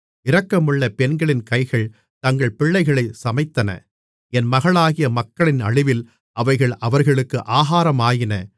இரக்கமுள்ள பெண்களின் கைகள் தங்கள் பிள்ளைகளைச் சமைத்தன என் மகளாகிய மக்களின் அழிவில் அவைகள் அவர்களுக்கு ஆகாரமாயின